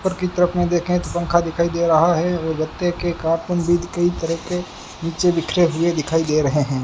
ऊपर की तरफ मे देखे तो पंखा दिखाई दे रहा है और गत्ते के कार्टून भी कई तरह के नीचे बिखरे हुए दिखाई दे रहे हैं।